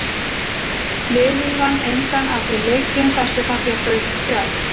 Liðið vann engan af þeim leikjum þar sem það fékk rautt spjald.